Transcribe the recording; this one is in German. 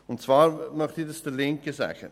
Und zwar möchte ich dies der Linken sagen.